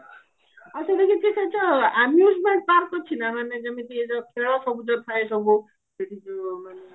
ଆଉ ସେଠି କିଛି ସେ ଯୋଉ amusement park ଅଛି ନା ମାନେ ଯେମିତି ସବୁ ଯୋଉ ଥାଏ ସବୁ